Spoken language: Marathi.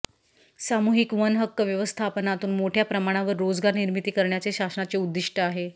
सामूहिक वन हक्क व्यवस्थापनातून मोठ्या प्रमाणावर रोजगार निर्मिती करण्याचे शासनाचे उद्दिष्ट आहे